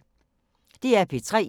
DR P3